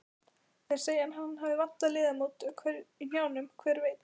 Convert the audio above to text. Þeir segja að hann vanti liðamót í hnjánum, hver veit?